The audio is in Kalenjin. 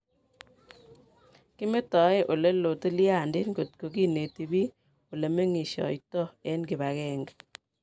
kimetae oleloa tilyandit kotko kineti piik ole menyikishtos eng kipagenge